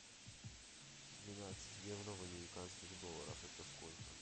двенадцать евро в американских долларах это сколько